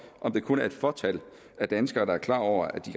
om det kun er et fåtal af danskere der er klar over at de